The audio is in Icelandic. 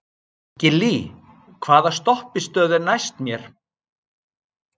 Gillý, hvaða stoppistöð er næst mér?